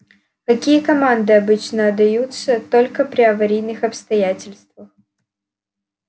какие команды обычно отдаются только при аварийных обстоятельствах